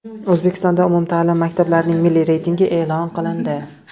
O‘zbekistonda umumta’lim maktablarning milliy reytingi e’lon qilindi.